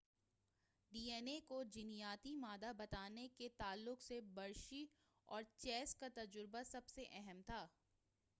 D N A کو جینیاتی مادہ بتانے کے تعلق سے ہرشی اور چیس کا تجربہ سب سے اہم تھا